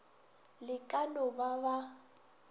le ka no ba ba